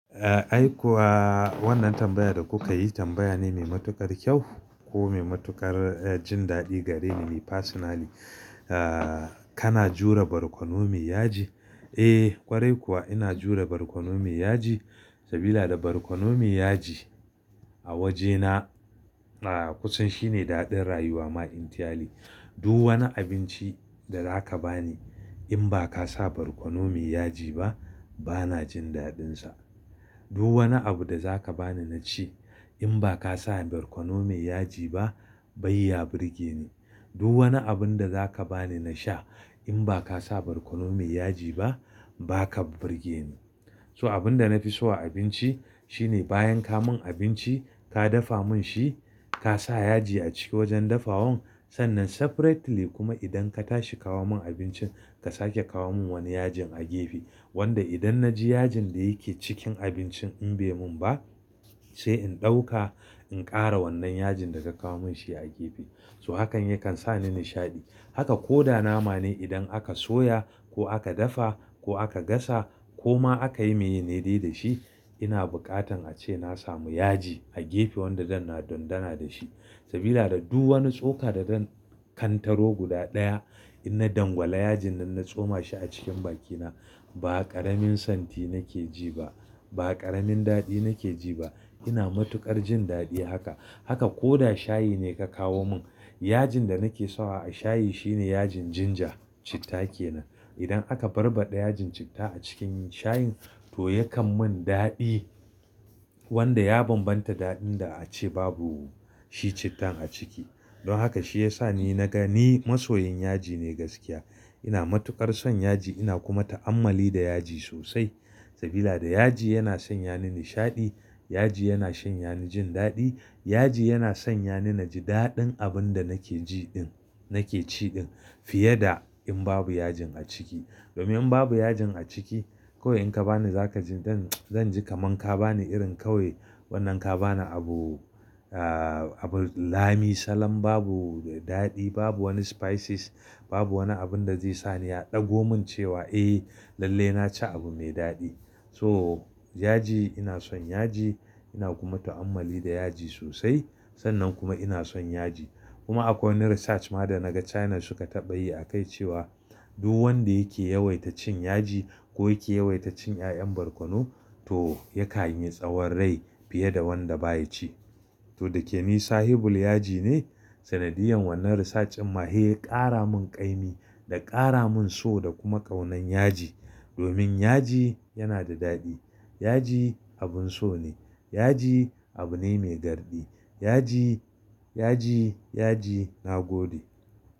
Eh ai kuwa wannan tambayar da kuka yi tambaya mai matukar kyau ko mai matukar jin daɗi gareni ni personally. Kana jure barkono mai yaji? Eh kwarai kuwa ina jure barkono mai yaji, sabida da barkono mai yaji a wajena kusan shine daɗin rayuwa ma entirely. Duk wani abinci da zaka bani in ba ka sa barkono mai yaji ba bana jin daɗinsa. Duk wani abu da zaka bani na ci in ba ka sa barkono mai yaji ba bai ya burge ni. Duk wani abun da zaka bani na sha in ba ka sa barkono mai yaji ba ba ka burge ni. So abun da nafi so a abinci shine bayan ka mun abinci, ka dafa mun shi, ka sa yaji a ciki wajen dafawan. Sannan separately kuma idan ka tashi kawo mun abincin ka sake kawo mun wani yajin a gefe. Wanda idan na ji yajin da yake cikin abincin in bai mun ba sai in ɗauka in ƙara wannan yajin da ka kawo mun shi a gefe. So hakan yakan sa ni nishaɗi. Haka ko da nama ne idan aka soya ko aka dafa ko aka gasa ko ma aka yi maye ne dai da shi ina buƙatan a ce na samu yaji a gefe wanda zan na dondana da shi. Sabida da duk wani tsoka da zan kantaro guda ɗaya inna dangwala yajin nan na tsoma shi a cikin bakina. Ba ƙaramin santi nake ji ba, ba ƙaramin daɗi nake ji ba. Ina matukar jin daɗi haka. Haka ko da shayi ne ka kawo mun yajin da nake so a shayi shine yajin ginger, citta kenan. Idan aka barbaɗe yajin citta a cikin shayin to yakan mun daɗi wanda ya bambanta daɗin da ace babu shi cittan a ciki. Don haka shi yasa ni na gani masoyan yaji ne gaskiya. Ina matukar son yaji ina kuma ta'ammali da yaji sosai. Sabida da yaji yana sanya ni nishaɗi, yaji yana sanya ni jin daɗi, yaji yana sanya ni naji daɗin abun da nake ji din nake ci din fiye da in babu yajin a ciki. Domin in babu yajin a ciki kawai in ka bani za ka ji zan, zan ji kaman ka bani irin kawai wannan ka bani abu, abu lami salam babu daɗi, babu wani spices, babu wani abun da zai sa ni ya ɗago mun cewa eh lalle na ci abu me daɗi. So yaji ina son yaji ina kuma ta'ammali da yaji sosai. Sannan kuma ina son yaji. Kuma akwai wani research ma da na ga China suka taɓa yi a kai cewa duk wanda yake yawaita cin yaji ko yake yawaita cin ƴaƴan barkono to yakan yi tsawon rai fiye da wanda baya ci. To da ke ni sahibul yaji ne. Sanadiyan wannan research din ma he ya ƙara mun ƙaimi da ƙara mun so da kuma ƙaunan yaji. Domin yaji yana da daɗi, yaji abun so ne, yaji abu ne mai garɗi, yaji, yaji, yaji na gode.